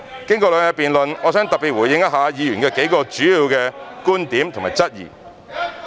經過兩日的辯論，我想特別回應一下議員數個主要的觀點和質疑。